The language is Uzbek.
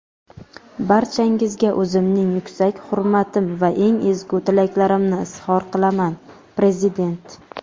barchangizga o‘zimning yuksak hurmatim va eng ezgu tilaklarimni izhor qilaman – Prezident.